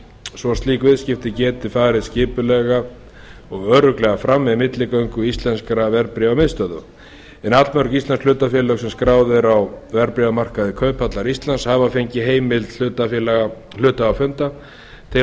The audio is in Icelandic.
svo slík viðskipti geti farið skipulega og örugglega fram með milligöngu íslenskra verðbréfamiðstöðva en allmörg íslensk hlutafélög sem skráð eru á verðbréfamarkaði kauphallar íslands hafa þegar fengið heimild hluthafafunda til þess að